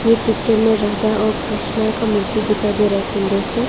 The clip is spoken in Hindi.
ये पिक्चर में राधा और कृष्ण का मूर्ति दिखाई दे रहा है सुंदर से।